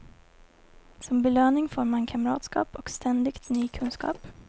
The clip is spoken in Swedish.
Som belöning får man kamratskap och ständigt ny kunskap.